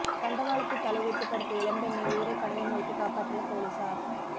தண்டவாளத்தில் தலைவைத்து படுத்த இளம்பெண்ணை உயிரை பணயம் வைத்து காப்பாற்றிய போலீசார்